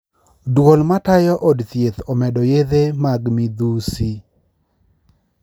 Duol matayo od thieth omedo yedhe mag midhusi